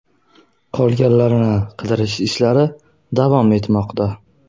Qolganlarini qidirish ishlari davom etmoqda.